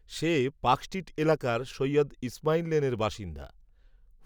সে, Park Street এলাকার, সৈয়দ ইসমাইল লেনের বাসিন্দা